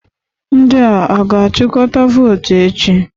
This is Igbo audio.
Ndị a ga-achịkọta votu echi?